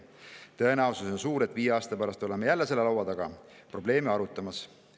Tõenäosus on suur, et viie aasta pärast oleme jälle selle laua taga probleeme arutamas.